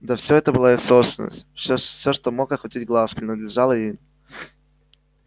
да всё это была их собственность всё всё что мог охватить глаз принадлежало им